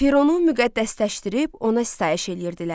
Fironu müqəddəsləşdirib ona sitayiş eləyirdilər.